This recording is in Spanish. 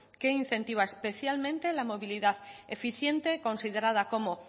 que incentiva especialmente la movilidad eficiente considerada como